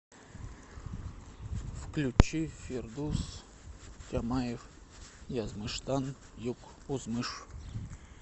включи фирдус тямаев язмыштан юк узмыш